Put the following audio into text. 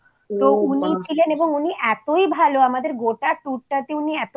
তো উনিই ছিলেন এবং উনি এতোই ভালো আমাদের